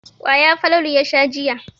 Kwaya Falalu ya sha jiya.